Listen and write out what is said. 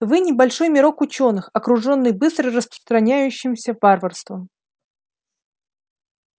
вы небольшой мирок учёных окружённый быстро распространяющимся варварством